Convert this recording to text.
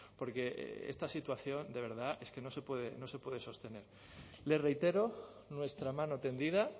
porque esta situación de verdad es que no se puede sostener le reitero nuestra mano tendida